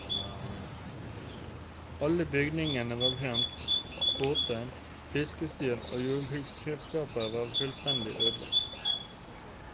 Alle bygninger var brent, båt, fiskeutstyr og jordbruksredskap var fullstendig ødelagt.